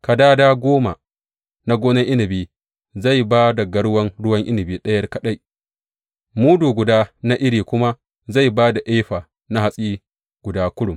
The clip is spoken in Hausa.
Kadada goma na gonar inabi zai ba da garwan ruwan inabi ɗaya kaɗai, mudu guda na iri kuma zai ba da efa na hatsi guda kurum.